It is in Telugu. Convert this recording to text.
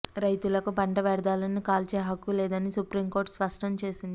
రైతులకు పంట వ్యర్థాలను కాల్చే హక్కు లేదని సుప్రీంకోర్టు స్పష్టం చేసింది